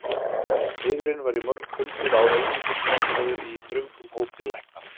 Eiðurinn var í mörg hundruð ár einungis notaður í þröngum hópi lækna.